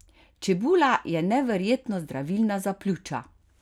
Čebula je neverjetno zdravilna za pljuča!